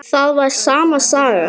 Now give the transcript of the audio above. Það var sama sagan.